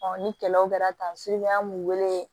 ni kɛlɛw kɛra tan suku an b'u wele